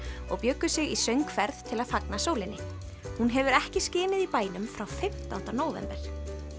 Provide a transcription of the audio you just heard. og bjuggu sig í söngferð til að fagna sólinni hún hefur ekki skinið í bænum frá fimmtánda nóvember